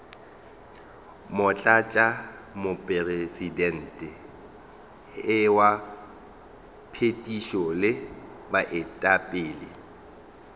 motlatšamopresidente wa phethišo le baetapele